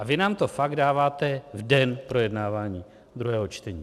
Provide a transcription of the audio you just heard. A vy nám to fakt dáváte v den projednávání druhého čtení.